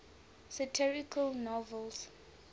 satirical novels